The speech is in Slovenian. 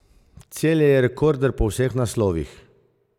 Celje je rekorder po vseh naslovih.